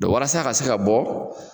walasa a ka se ka bɔ